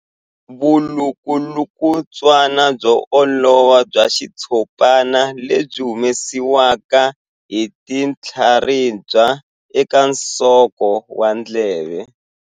Vulukulutswana byo olova bya xitshopana lebyi byi humesiwaka hi tinhlaribya eka nsoko wa ndleve.